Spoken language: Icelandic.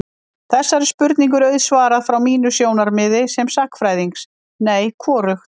Þessari spurningu er auðsvarað frá mínu sjónarmiði sem sagnfræðings: Nei, hvorugt.